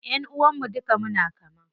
Ƴanʼuwan mu duka muna kama.